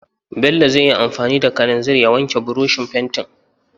Bello zai yi anfani da kalanzir ya wanke burushin fentin.